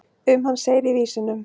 um hann segir í vísunum